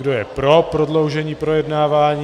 Kdo je pro prodloužení projednání?